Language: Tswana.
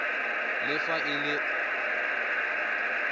le fa e le e